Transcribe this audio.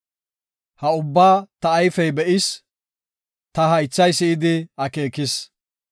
Ha ubbaa ta ayfey be7is; ta haythay si7idi akeekis.